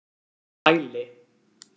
Hæli